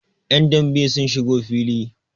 yan dambe sun shigo fili